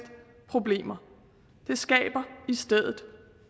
problemer det skaber i stedet